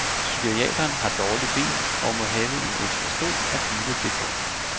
Psykiateren har dårligt ben og må have en ekstra stol at hvile det på.